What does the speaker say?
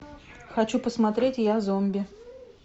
хочу посмотреть я зомби